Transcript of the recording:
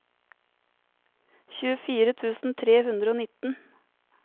tjuefire tusen tre hundre og nitten